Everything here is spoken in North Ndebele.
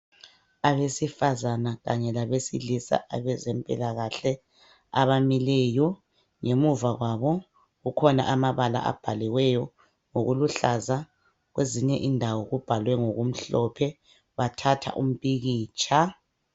Abesifazane kanye labesilisa abezempilakahle abamileyo ngemuva kwabo kukhona amabala abhaliweyo ngokuluhlaza kwezinye indawo kubhalwe ngoku mhlophe bathatha umpikitsha.